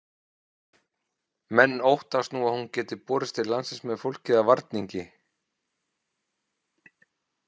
Menn óttast nú að hún geti borist til landsins með fólki eða varningi.